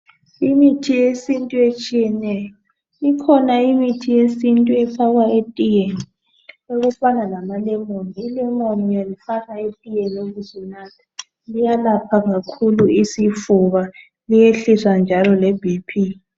Imithi yesintu etshiyeneyo kukhona imithi yesintu efakwa etiyeni, okufana lama lemon , ilemon uyalifaka etiyeni ubusu natha liyelapha isifuba liyehlise le BP